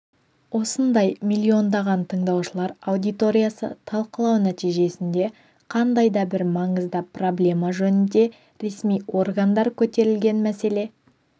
осындай миллиондаған тыңдаушылар аудиториясы талқылау нәтижесінде қандай да бір маңызды проблема жөнінде ресми органдар көтерілген мәселе